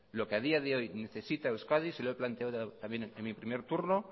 lo que a día de hoy necesita euskadi se lo he planteado también en mi primer turno